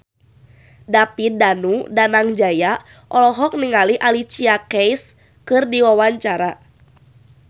David Danu Danangjaya olohok ningali Alicia Keys keur diwawancara